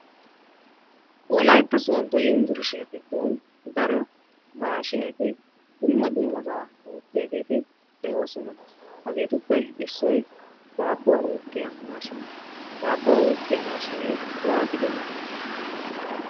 Wolaytta soodo yunbburshiyaa giddon daro maashshineti dumma dummaba oottiyaageeti de'oosona. Hageetuppe issoy daabbuwa uukkiyaa maashiniyaa. Daabbuwa uukkiyya maashinee waattidi uukii?